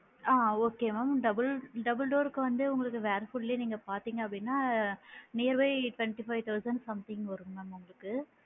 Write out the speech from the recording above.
ஆ okay mam double door க்கு வந்து உங்களுக்கு வேர்ல்பூலே வந்து நீங்க பாத்திங்க அப்படின்னா nearby twenty five thousand something வரும் ma'am உங்களுக்கு